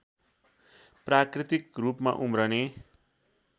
प्राकृतिक रूपमा उम्रने